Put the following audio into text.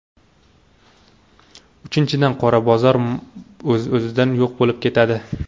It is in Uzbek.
Uchinchidan, qora bozor o‘z-o‘zidan yo‘q bo‘lib ketadi.